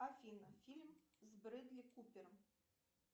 афина фильм с бредли купером